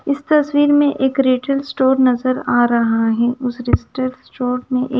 इस तस्वीर में एक रिटेल स्टोर नजर आ रहा है उस रेस्टेल स्टोर में एक--